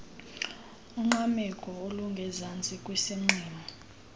ungqameko olungezantsi kwisiqingqo